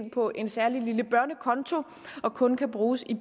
ind på en særlig lille børnekonto og kun kan bruges i